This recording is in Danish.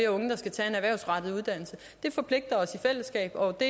unge skal tage en erhvervsrettet uddannelse det forpligter os i fællesskab og det